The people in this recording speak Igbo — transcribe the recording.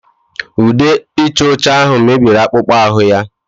Ude ịcha ọcha ahụ mebiri akpụkpọ ahụ ya